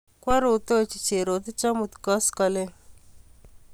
Kwaarutochi Jerotich amut koskoling'